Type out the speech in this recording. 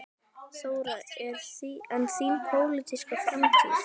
Þóra: En þín pólitíska framtíð?